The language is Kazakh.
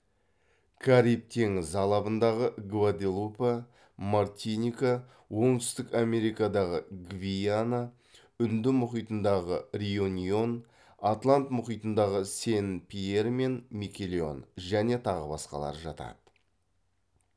кариб теңізі алабындағы гваделупа мартиника оңтүстік америкадағы гвиана үнді мұхитындағы реюньон атлант мұхитындағы сен пьер мен микелон және тағы басқалары жатады